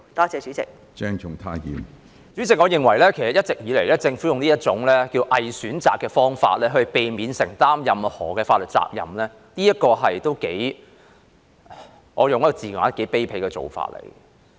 主席，我認為政府其實一直以來都用這種"偽選擇"的方式來避免承擔任何法律責任，我會用"頗卑鄙"來形容這做法。